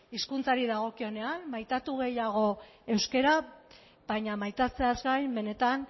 hizkuntzari dagokionean maitatu gehiago euskara baina maitatzeaz gain benetan